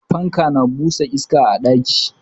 Fanka na busa iska a ɗaki.